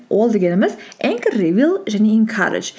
ол дегеніміз энк ривел және инкаредж